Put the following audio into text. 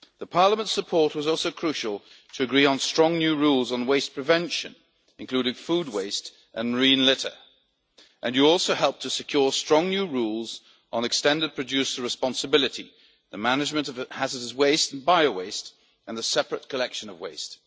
Parliament's support was also crucial to agree on strong new rules on waste prevention, including food waste and marine litter, and you also helped to secure strong new rules on extended producer responsibility, the management of hazardous wastes and bio waste, and the separate collection of waste.